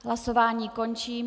Hlasování končím.